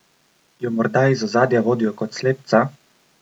Jo morda iz ozadja vodijo kot slepca?